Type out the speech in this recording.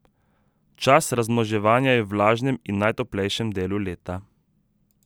Čas razmnoževanja je v vlažnem in najtoplejšem delu leta.